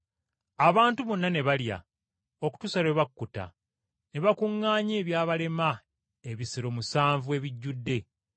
Abantu bonna ne balya okutuusa lwe bakkuta, ne bakuŋŋaanya ebyabalema ebisero musanvu ebijjudde.